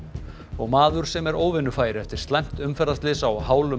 maður sem er óvinnufær eftir slæmt umferðarslys á hálum